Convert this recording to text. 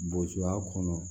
Bosoya kɔnɔ